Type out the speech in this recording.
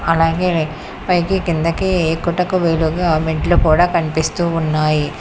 అలాగే పైకి కిందకి ఎక్కుటకు వీలుగా మెట్లు కూడా కనిపిస్తూ ఉన్నాయి.